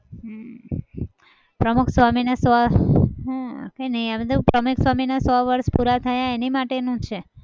હમ પમુખસ્વામીને સો હમ કઈ નહિ એમ કીધું પ્રમુખસ્વામીને સો વર્ષ પુરા થયા એની માટે નું છે.